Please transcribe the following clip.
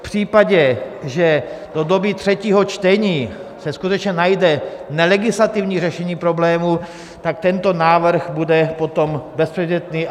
V případě, že do doby třetího čtení se skutečně najde nelegislativní řešení problému, tak tento návrh bude potom bezpředmětný.